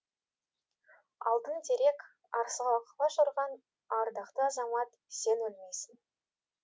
алтын терек арсыға құлаш ұрған ардақты азамат сен өлмейсің